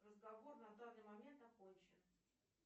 разговор на данный момент окончен